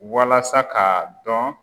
Walasa k'a dɔn